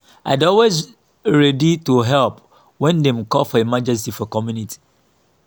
i dey always ready to help when dem call for emergency for community.